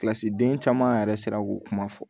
Kilasi den caman yɛrɛ sera k'o kuma fɔ